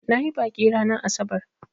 Na yi baƙi ranar asabar.